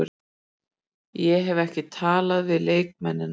Ég hef ekki talað við leikmennina.